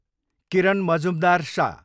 किरण मजुमदार, स